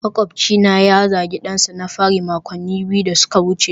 makwabcina ya zagi dansa na fari makonni biyu da suka wuce